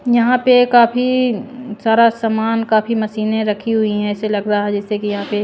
यहां पे काफी सारा सामान काफी मशीनें रखी हुई हैं ऐसे लग रहा है जैसे कि यहां पे--